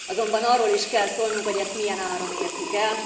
Azonban arról is kell szólnunk, hogy ezt milyen áron értük el.